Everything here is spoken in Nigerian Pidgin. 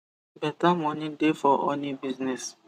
beta moni dey for honey business